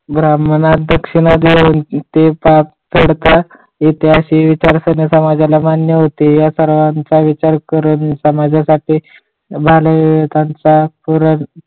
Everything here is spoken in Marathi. ब्राह्मणास दक्षिणा देऊन ते पातळता ऐतिहासिक विचारांना मान्य होते या सर्वांचा विचार करून समाजासाठी मालेहितांचा पुरण